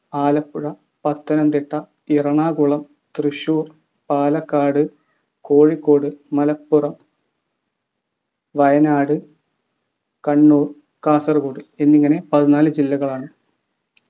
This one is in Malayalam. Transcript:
ആലപ്പുഴ പത്തനംത്തിട്ട എറണാകുളം തൃശൂർ പാലക്കാട് കോഴിക്കോട് മലപ്പുറം വയനാട് കണ്ണൂർ കാസർകോഡ് എന്നിങ്ങനെ പതിനാൽ ജില്ലകളാണ്